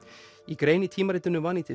í grein í tímaritinu